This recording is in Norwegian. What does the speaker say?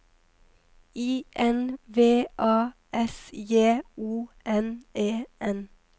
I N V A S J O N E N